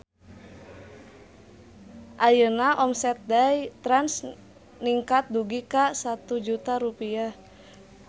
Ayeuna omset Day Trans ningkat dugi ka 1 juta rupiah